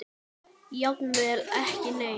Jafnvel ekki neitt.